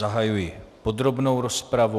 Zahajuji podrobnou rozpravu.